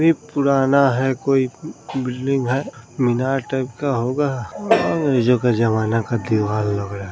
ई पुराना है कोई ब बिल्डिंग है मीनार टाइप का होगा और अंग्रेजों के जमाना का दीवाल लग रहा है।